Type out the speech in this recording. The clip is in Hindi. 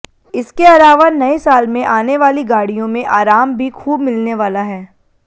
इसके अलावा नए साल में आने वाली गाड़ियों में आराम भी खूब मिलने वाला है